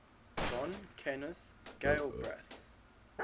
john kenneth galbraith